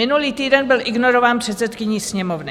Minulý týden byl ignorován předsedkyní Sněmovny.